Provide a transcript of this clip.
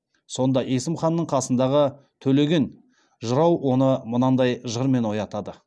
сонда есім ханның қасындағы төлеген жырау оны мынадай жырмен оятады